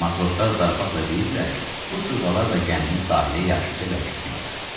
Matroslar zarafatla deyirdilər ki, bu sırğalarla gəmini sahilə yaxşıca bərkitmək olar.